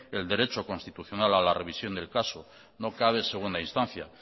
el derecho constitucional a la revisión del caso no cabe segunda instancia